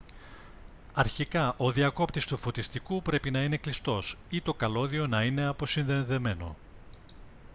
αρχικά ο διακόπτης του φωτιστικού πρέπει να είναι κλειστός ή το καλώδιο να είναι αποσυνδεδεμένο